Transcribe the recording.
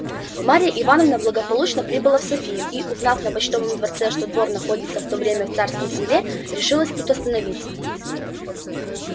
марья ивановна благополучно прибыла в софию и узнав на почтовом дворце что двор находился в то время в царском селе решилась тут остановиться